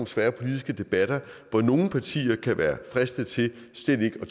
svære politiske debatter hvor nogle partier kan være fristet til slet ikke at